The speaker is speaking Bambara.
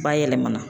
Bayɛlɛmana